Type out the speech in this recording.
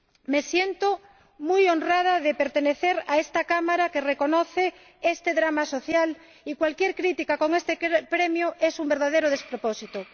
Me siento muy honrada de pertenecer a esta Cámara que reconoce este drama social y cualquier crítica a este premio es un verdadero despropósito.